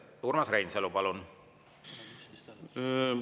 Urmas Reinsalu, palun!